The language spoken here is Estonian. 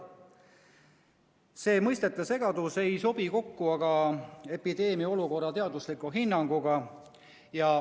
See mõistete segadus ei sobi kokku epideemia olukorra teadusliku hinnanguga.